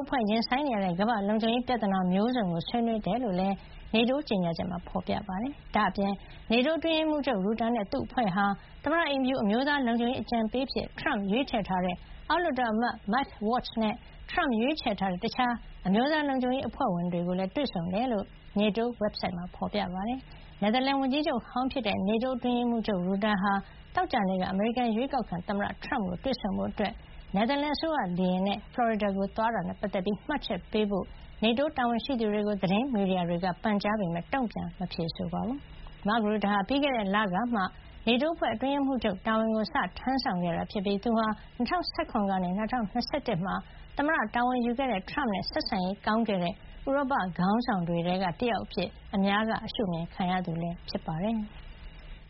အဖွဲ့ ရင်ဆိုင်နေရတဲ့ ကမ္ဘာ့လုံခြုံရေးဆိုင်ရာ ပြဿနာမျိုးစုံကို ဆွေးနွေးခဲ့ကြတယ်လို့ NATO ကြေညာချက်မှာ ဖေါ်ပြထားပါတယ်။ ဒါ့အပြင် NATO အတွင်းရေးမှုးချုပ် ရူတာနဲ့ သူ့အဖွဲ့ဟာ သမ္မတအိမ်ဖြူ အမျိုးသားလုံခြုံရေး အကြံပေး အဖြစ် ထရမ့်ရွေးချယ်ထားတဲ့ အောက်လွှတ်တော်အမတ် Mike Waltz နဲ့ ထရမ့်ရွေးချယ်ထားတဲ့ တခြား အမျိုးသားလုံခြုံရေး အဖွဲ့ဝင်တွေ ကိုလည်း တွေ့ဆုံခဲ့တယ်လို့ NATO ဝက်ဘ်ဆိုက်စာမျက်နှာမှာ ဖော်ပြထားပါတယ်။ နယ်သာလန်ဝန်ကြီးချုပ်ဟောင်း ဖြစ်တဲ့ NATO အတွင်းရေးမှုးချုပ် ရူတာ ဟာ သောကြာနေ့က အမေရိကန် အရွေးကောက်ခံ သမ္မတထရမ့်ကို တွေ့ဆုံဖို့ နယ်သာလန်အစိုးရ လေယာဉ်နဲ့ ဖလော်ရီဒါကို သွားခဲ့တာနဲ့ ပတ်သက်ပြီး မှတ်ချက်ပေးဖို့ NATO တာဝန်ရှိသူတွေကို သတင်းမီဒီယာတွေက ပန်ကြားခဲ့ပေမယ့် တုံ့ပြန်ဖြေဆိုတာ မရှိပါဘူး။ ရူတာဟာ ပြီးခဲ့တဲ့လကမှာ NATO အဖွဲ့ရဲ့ အတွင်းရေးမှုးချုပ် တာဝန်ကို စတင်ထမ်းဆောင်ခဲ့တာ ဖြစ်ပြီး သူဟာ ၂၀၁၇ ကနေ ၂၀၂၁ မှာ သမ္မတ တာဝန်ယူခဲ့တဲ့ ထရမ့်နဲ့ ဆက်ဆံရေး ကောင်းခဲ့တဲ့ ဥရောပခေါင်းဆောင်တွေထဲက တယောက်အဖြစ် အများက ရှုမြင်ခံရသူ ဖြစ်ပါတယ်။